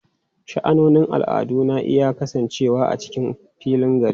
Sha'anonin al'adu na iya kasancewa a cikin filin gari.